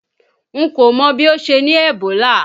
N kò mọ bí ó ṣe ní Ebola.